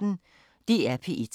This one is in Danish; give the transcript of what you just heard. DR P1